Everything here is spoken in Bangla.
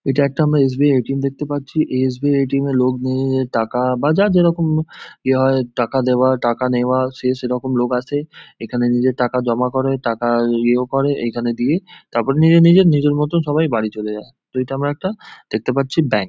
এটা একটা আমরা S. B .I A. T .M দেখতে পাচ্ছি। এই S. B .I A .T .M - এ লোক নিয়ে টাকা বা যার যেইরকম ইয়ে হয় টাকা দেওয়া টাকা নেওয়া সে সে রকম লোক আসে। এখানে নিজের টাকা জমা করে টাকা ইয়ে ও করে এইখানে দিয়ে তারপর নিজের নিজের নিজের মতো সবাই বাড়ি চলে যায়। এটা আমরা একটা দেখতে পাচ্ছি ব্যাঙ্ক।